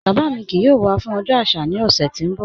Baba mi kíì yóò wà fún ọjọ́ aṣà ni ọ̀ṣẹ̀ tí n bọ̀.